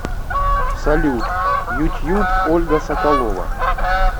салют ютьюб ольга соколова